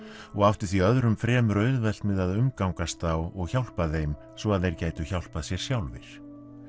og átti því öðrum fremur auðvelt með að umgangast þá og hjálpa þeim svo þeir gætu hjálpað sér sjálfir